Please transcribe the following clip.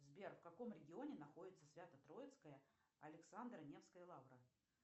сбер в каком регионе находится свято троицкая александро невская лавра